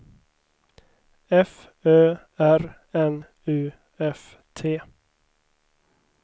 F Ö R N U F T